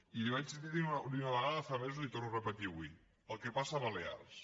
i l’hi vaig dir una vegada fa mesos i l’hi torno a repetir avui el que passa a balears